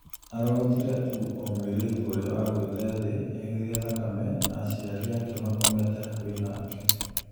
arogotire tu o mũirĩtu ũrĩa wagũite thĩ aihũire thakame na aciari ake makomete hakuhi nake